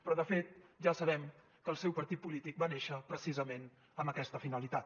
però de fet ja sabem que el seu partit polític va néixer precisament amb aquesta finalitat